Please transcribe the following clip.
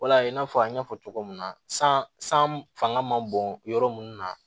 Wala i n'a fɔ an y'a fɔ cogo min na san san fanga man bon yɔrɔ mun na